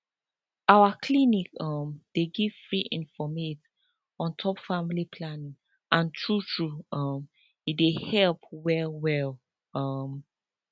our clinic um dey give free informate on top family planning and true true um e dey help well well um